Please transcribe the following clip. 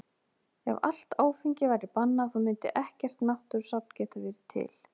Ef allt áfengi væri bannað þá mundi ekkert náttúrusafn geta verið til.